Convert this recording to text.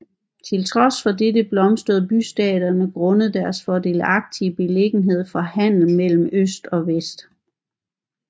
Til trods for dette blomstrede bystaterne grundet deres fordelagtige beliggenhed for handelen mellem øst og vest